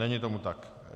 Není tomu tak.